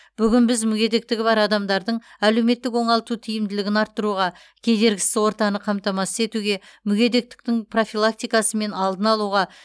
бүгін біз мүгедектігі бар адамдардың әлеуметтік оңалту тиімділігін арттыруға кедергісіз ортаны қамтамасыз етуге мүгедектіктің профилактикасы мен алдын алуға